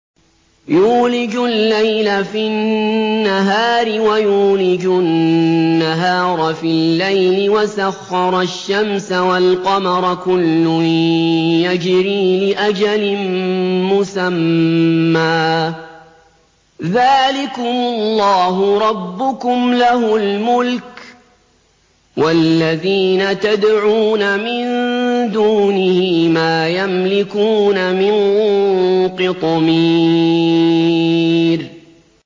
يُولِجُ اللَّيْلَ فِي النَّهَارِ وَيُولِجُ النَّهَارَ فِي اللَّيْلِ وَسَخَّرَ الشَّمْسَ وَالْقَمَرَ كُلٌّ يَجْرِي لِأَجَلٍ مُّسَمًّى ۚ ذَٰلِكُمُ اللَّهُ رَبُّكُمْ لَهُ الْمُلْكُ ۚ وَالَّذِينَ تَدْعُونَ مِن دُونِهِ مَا يَمْلِكُونَ مِن قِطْمِيرٍ